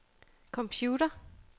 computer